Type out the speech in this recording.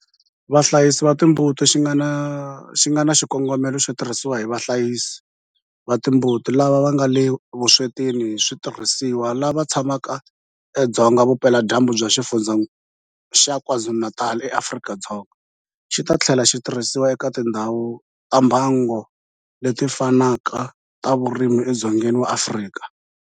Vahlayisi va timbuti xi nga na xikongomelo xo tirhisiwa hi vahlayisi va timbuti lava nga le vuswetini hi switirhisiwa lava tshamaka edzonga vupeladyambu bya Xifundzha xa KwaZulu-Natal eAfrika-Dzonga, xi ta tlhela xi tirhisiwa eka tindhawu ta mbango leti fanaka ta vurimi edzongeni wa Afrika.